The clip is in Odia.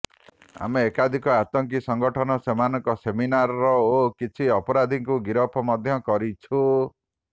ଆମେ ଏକାଧିକ ଆତଙ୍କୀ ସଂଗଠନ ସେମାନଙ୍କ ସେମିନାର ଓ କିଛି ଅପରାଧୀଙ୍କୁ ଗିରଫ ମଧ୍ୟ କରିଛୁ